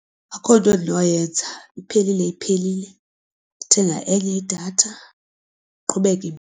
Akukho nto endinoyenza iphelile iphelile ndithenga enye idatha ndiqhubeke.